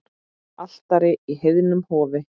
Altari í heiðnu hofi.